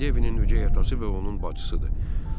Devidin ögey atası və onun bacısıdır.